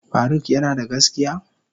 Faruk yanada gaskiya?